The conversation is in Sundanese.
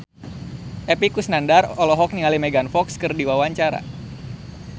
Epy Kusnandar olohok ningali Megan Fox keur diwawancara